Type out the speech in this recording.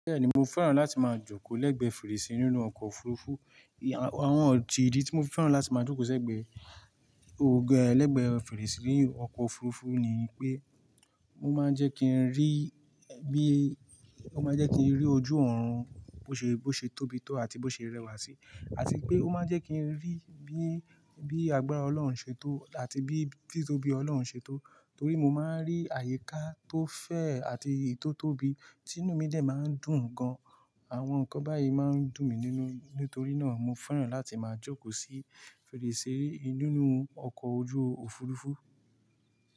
Bẹ́ẹ̀ni mo fẹ́ràn láti máa jókòó lẹ́gbẹ́ fèrèsé nínú ọkọ̀ òfurufú. Àwọn ídí tí mo fẹ́ràn láti máa jókòó sẹ́gbẹ̀ẹ́ ògẹ lẹ́gbẹ́ fèrèsé nínú ọkọ̀ òfurufú ni pé, mo máa ń jẹ́ kí ń rí bí, ó máa ń jẹ́ kí ń rí ojú òòrùn bó ṣe, bó ṣe tóbi tó àti bó ṣe rẹwà sí. Àti pé ó máa ń jẹ́ kí ń rí bí, bí agbára Ọlọ́run ṣe tó àti bí, tí tóbi Ọlọ́run ṣe tó. Torí mo máa ń rí àyíká tó fẹ̀ àti ì tótóbi, tinú mi dẹ̀ máa ń dùn gan. Àwọn nǹkan báyìí máa ń dùn mí nínú, nítorí náà mo fẹ́ràn láti máa jókòó sí fèrèsé nínú ọkọ̀ ojú òfurufú.